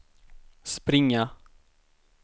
springa